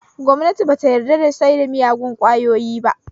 Gwamnati ba ta yarda da saida miyagon ƙwayoyi ba